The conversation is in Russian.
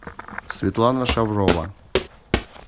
светлана шаврова